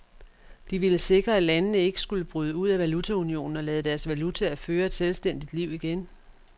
De ville sikre, at landene ikke skulle bryde ud af valutaunionen og lade deres valutaer føre et selvstændigt liv igen.